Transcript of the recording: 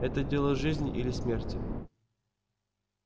это дело жизни или смерти